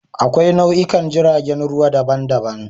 Akwai nau'ikan jiragen ruwa daban-daban.